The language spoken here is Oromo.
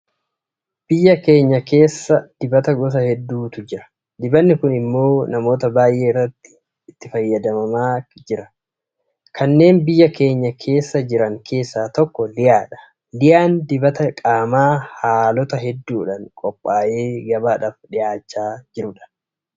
Biyya keenya keessa dibata gosa hedduutu jira. Dibanni kun immoo namoota baay'ee biratti itti fayyadamamaa jira. Kanneen biyya keenya keessa jiran keessaa tokko Liyaadha. Liyaan dibata qaamaa haalota hedduudhaan qophaa'ee gabaadhaaf dhiyaachaa jirudha.